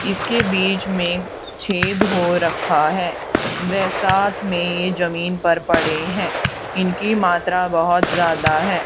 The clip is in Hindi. इसके बीच में छेद हो रखा है वै साथ में ये जमीन पर पड़े हैं इनकी मात्रा बहोत ज्यादा है।